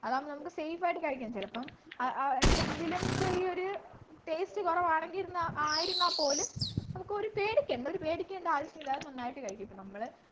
അതാവുമ്പോ നമ്മക്ക് safe ആയിട്ട് കഴിക്കാം ചെലപ്പ ആഹ് എന്തെങ്കിലും ചെറിയൊരു taste കൊറവാണെങ്കിൽ ആയിരുന്ന പോലും നമുക്കൊരു പേടിക്കേണ്ട പേടിക്കേണ്ട ആവശ്യമില്ല അത് നന്നായിട്ട് കഴിക്കും ഇപ്പൊ നമ്മള്